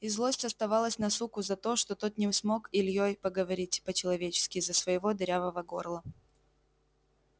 и злость оставалась на суку за то что тот не смог с ильёй переговорить по-человечески из-за своего дырявого горла